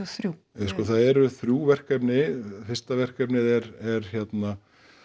þrjú ja það sko eru þrjú verkefni fyrsta verkefnið er hérna